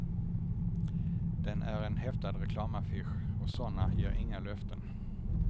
Den är en häftad reklamaffisch, och såna ger inga löften.